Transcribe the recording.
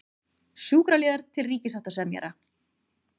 Sjúkraliðar til ríkissáttasemjara